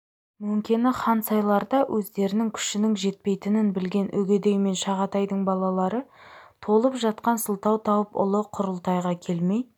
мөңкені хан сайларда өздерінің күшінің жетпейтінін білген үгедей мен жағатайдың балалары толып жатқан сылтау тауып ұлы құрылтайға келмей